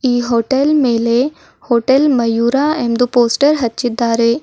ಈ ಹೋಟೆಲ್ ಮೇಲೆ ಹೋಟೆಲ್ ಮಯೂರ ಎಂದು ಪೋಸ್ಟರ್ ಹಚ್ಚಿದ್ದಾರೆ.